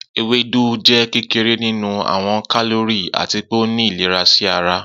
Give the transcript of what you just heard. Ewedu jẹ kekere ninu awọn kalori, ati pe o ni ilera si ara.